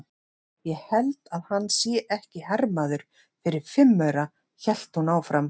Ég held að hann sé ekki hermaður fyrir fimm aura, hélt hún áfram.